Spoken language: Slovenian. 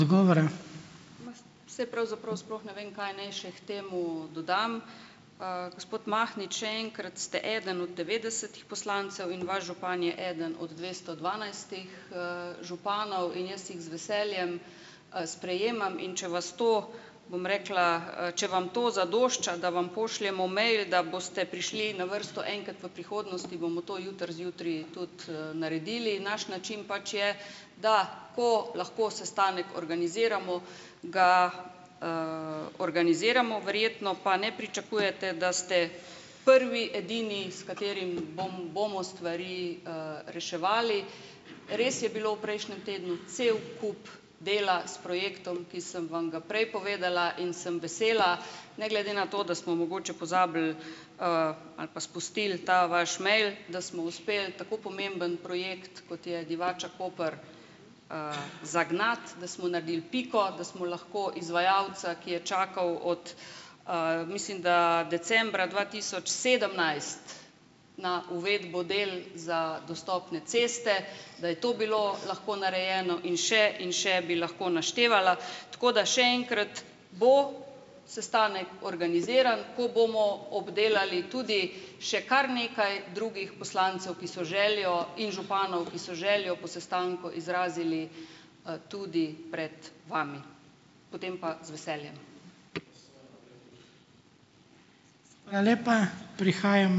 Saj pravzaprav sploh ne vem, kaj naj še k temu dodam. Gospod Mahnič, še enkrat, ste eden od devetdesetih poslancev in vaš župan je eden od dvesto dvanajstih, županov. In jaz jih z veseljem, sprejemam. In če vas to, bom rekla, če vam to zadošča, da vam pošljemo mail, da boste prišli na vrsto enkrat v prihodnosti, bomo to jutri zjutraj tudi, naredili. Naš način pač je, da ko lahko sestanek organiziramo, ga, organiziramo. Verjetno pa ne pričakujete , da ste prvi, edini, s katerim bom bomo stvari, reševali. Res je bilo v prejšnjem tednu cel kup dela s projektom, ki sem vam ga prej povedala. In sem vesela ne glede na to, da smo mogoče pozabili, ali pa spustili ta vaš mail, da smo uspeli tako pomemben projekt, kot je Divača-Koper, zagnati, da smo naredili piko, da smo lahko izvajalca, ki je čakal od, mislim da, decembra dva tisoč sedemnajst na uvedbo del za dostopne ceste, da je to bilo lahko narejeno. In še in še bi lahko naštevala. Tako da še enkrat, bo sestanek organiziran, ko bomo obdelali tudi še kar nekaj drugih poslancev, ki so željo, in županov, ki so željo po sestanku izrazili, tudi pred vami. Potem pa z veseljem.